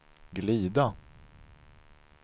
glida